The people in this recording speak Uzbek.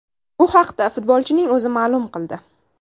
Bu haqda futbolchining o‘zi ma’lum qildi .